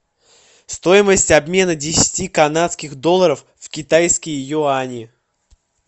стоимость обмена десяти канадских долларов в китайские юани